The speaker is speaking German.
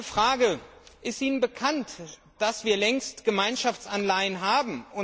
Eine Frage Ist Ihnen bekannt, dass wir längst Gemeinschaftsanleihen haben?